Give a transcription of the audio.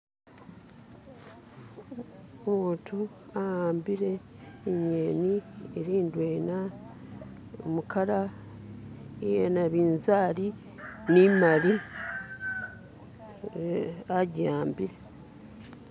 Umuntu awambile inyeni ili ndwena mu kala iyanabinzali ni'mali e ajiwambile.